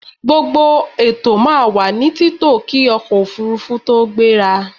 Gbogbo ètò máa wà ní títò kí ọkọ̀ òfurufú tó gbéra.a